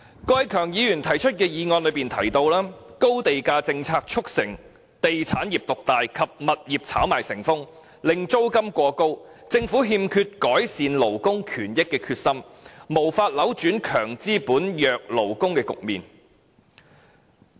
郭偉强議員提出的議案提到，"高地價政策促成地產業獨大及物業炒賣成風，令租金過高……政府欠缺改善勞工權益的決心，無法扭轉'強資本、弱勞工'的局面"。